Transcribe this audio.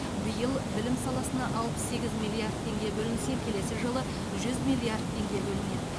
биыл білім саласына алпыс сегіз миллиард теңге бөлінсе келесі жылы жүз миллиард теңге бөлінеді